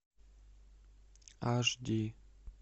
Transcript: аш ди